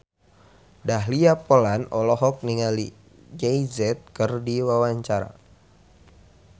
Dahlia Poland olohok ningali Jay Z keur diwawancara